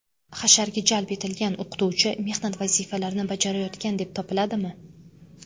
Hasharga jalb etilgan o‘qituvchi mehnat vazifalarini bajarayotgan deb topiladimi?